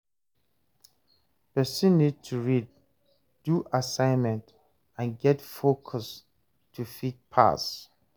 person need to read, do assignment and get focus to fit pass